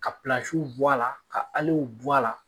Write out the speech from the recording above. Ka bɔ a la, ka bɔ a la